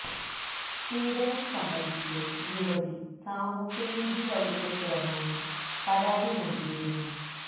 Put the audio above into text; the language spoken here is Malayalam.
പീഡനം സംബന്ധിച്ച് യുവതി സാമൂഹ്യ നീതി വകുപ്പ് ചെയര്മാന് പരാതി നല്കിയിരുന്നു